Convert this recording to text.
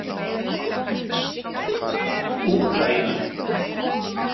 Úkraína